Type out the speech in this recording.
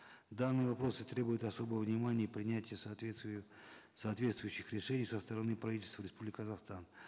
данные вопросы требуют особого внимания и принятия соответствующих решений со стороны правительства республики казахстан